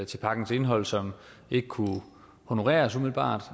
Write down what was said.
til pakkens indhold som ikke kunne honoreres umiddelbart